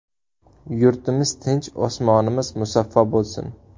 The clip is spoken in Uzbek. Yurtimiz tinch, osmonimiz musaffo bo‘lsin.